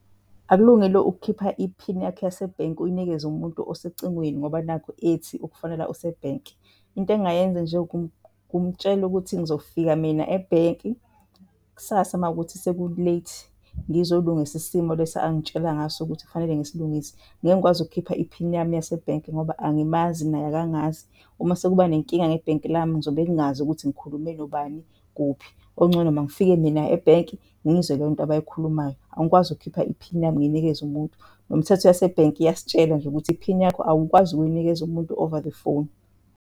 Akulungile ukukhipha iphini yakho yasebhenki uyinikeze umuntu osecingweni ngoba nakhu ethi ukufonela usebhenki. Into engingayenza nje ukumutshela ukuthi ngizofika mina ebhenki kusasa mawukuthi seku-late ngizolungisa isimo lesi angitshela ngaso ukuthi kufanele ngisilungise. Ngeke ngikwazi ukukhipha iphini yami yasebhenki ngoba angimazi, naye akangazi. Uma sekuba nenkinga ngebhenki lami, ngizobe ngingazi ukuthi ngikhulume nobani, kuphi. Okungcono mangifike mina ebhenki ngizwe leyo nto abayikhulumayo. Angikwazi ukukhipha iphini yami ngiyinikeze umuntu. Nomthetho yasebhenki iyasitshela nje ukuthi iphini yakho awukwazi ukuyinikeza umuntu over the phone.